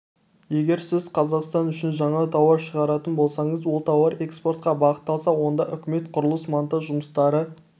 егер сіз қазақстан үшін жаңа тауар шығаратын болсаңыз ол тауар экспортқа бағытталса онда үкімет құрылыс-монтаж жұмыстары